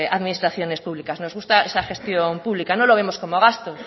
administraciones públicas nos gusta esa gestión pública no lo vemos como gasto